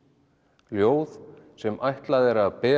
ljóð sem ætlað er að bera